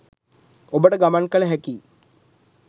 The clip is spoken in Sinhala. ඔබට ගමන් කල හැකියි.